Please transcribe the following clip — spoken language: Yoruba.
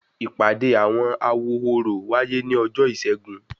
Ìpàdé àwọn awo orò wáyé ni ọjọ ìsẹ́gun